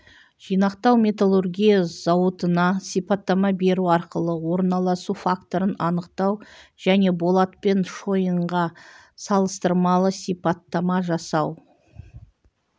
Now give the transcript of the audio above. жинақтау металлургия зауытына сипаттама беру арқылы орналасу факторын анықтау және болат пен шойынға салыстырмалы сипаттама жасау